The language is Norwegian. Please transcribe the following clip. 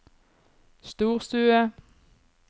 storstue